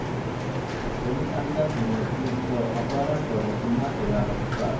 पोलिसांच्या समोर 'ती'चं अपहरण करून पुन्हा केला बलात्कार